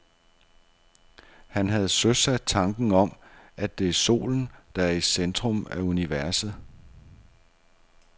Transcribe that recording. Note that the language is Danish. Han havde søsat tanken om, at det er solen, der er i centrum af universet.